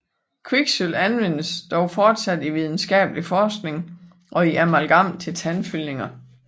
Kviksølv anvendes dog fortsat i videnskabelig forskning og i amalgam til tandfyldninger